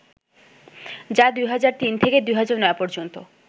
যা ২০০৩ থেকে ২০০৯ পর্যন্ত